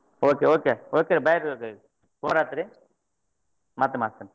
Okay okay okay bye ಆತ್ರಿ ಮತ್ತೆ ಮಾಡ್ತೆನ್ರಿ.